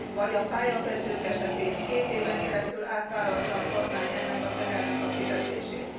Vagy a pályakezdők esetén két éven keresztül átvállalta a kormány ennek a tehernek a fizetését.